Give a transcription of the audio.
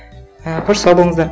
і қош сау болыңыздар